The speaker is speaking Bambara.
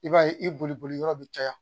I b'a ye i boli boli yɔrɔ be caya.